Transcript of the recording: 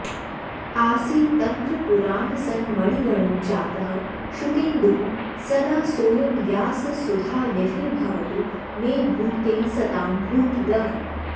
आसीत्तन्त्रपुराणसन्मणिगणो जातः शुकेन्दुः सदा सोयं व्याससुधा निधिर्भवतु मे भूत्यै सतां भूतिदः